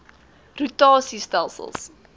rota sie stelsels